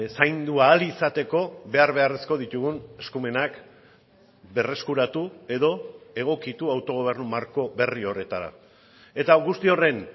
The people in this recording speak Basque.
zaindu ahal izateko behar beharrezko ditugun eskumenak berreskuratu edo egokitu autogobernu marko berri horretara eta guzti horren